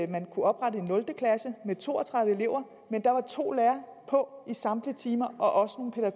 man kunne oprette en nul klasse med to og tredive elever og med to lærere på i samtlige timer og